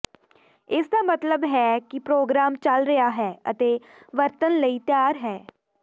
ਇਸ ਦਾ ਮਤਲਬ ਹੈ ਕਿ ਪ੍ਰੋਗਰਾਮ ਚੱਲ ਰਿਹਾ ਹੈ ਅਤੇ ਵਰਤਣ ਲਈ ਤਿਆਰ ਹੈ